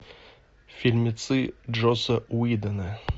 фильмецы джосса уидона